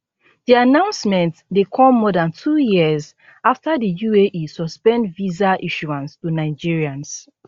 di announcement dey come more dan two years afta di uae suspend visa issuance to nigerians